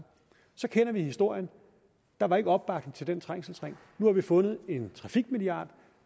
så kender vi historien der var ikke opbakning til den trængselsring nu har vi fundet en trafikmilliard